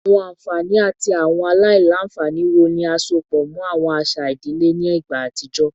Awọn anfani ati awọn alailanfani wo ni a sopọ mọ awọn aṣa idile ni igba atijọ?